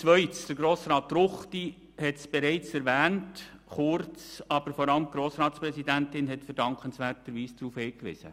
Herr Grossrat Ruchti hat ihn bereits kurz erwähnt, und vor allem Frau Grossratspräsidentin Zybach hat verdankenswerterweise darauf hingewiesen.